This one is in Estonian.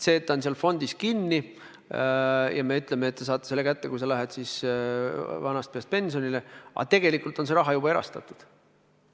See raha on seal fondis kinni ja me ütleme, et te saate selle kätte, kui te lähete vanast peast pensionile, aga tegelikult on see raha juba erastatud.